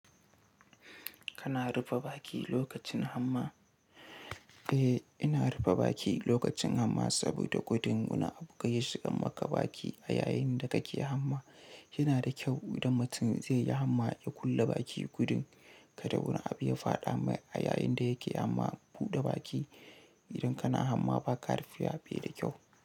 Kana rufe baki lokacin hamma? Eh, ina rufe baki lokacin hamma saboda gudun wani abu kar yi shigan maka baki a yayinda kake hamma. Yana da kyau idan mutum zai yi hamma ya kulle baki gudun ka da wani abu ya fada mai a yayinda yake amma buɗe baki idan kana hamma ba ka rufewa bai da kyau.